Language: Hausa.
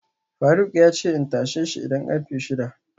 faruk yace in tasheshi idan karfe shida